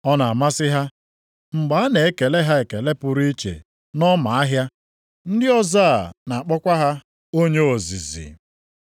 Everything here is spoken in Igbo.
Ọ na-amasị ha mgbe a na-ekele ha ekele pụrụ iche nʼọma ahịa, ndị ọzọ a na-akpọkwa ha, ‘Onye ozizi.’